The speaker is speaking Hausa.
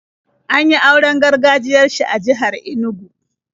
An yi auren gargajiyar shi a jihar Inugu.